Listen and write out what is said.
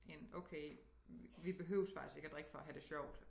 En okay vi behøves faktisk ikke at drikke for at have det sjovt